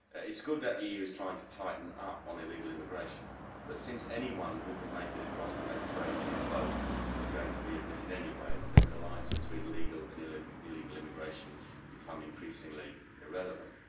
It is good that the EU is trying to tighten up on illegal immigration, but since anyone who can make it across the Mediterranean in a boat is going to be admitted anyway, the lines between the legal and illegal immigration are becoming increasingly irrelevant.